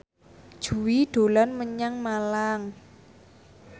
Jui dolan menyang Malang